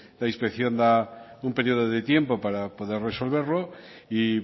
la inspección da un periodo de tiempo para poder resolverlo y